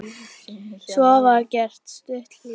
Svo var gert stutt hlé.